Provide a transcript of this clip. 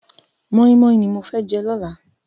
Mòimòi ni mó fè jè lòlá